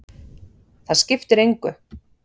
Það skiptir engu.